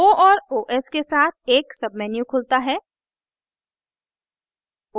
o और os के साथ एक menu खुलता है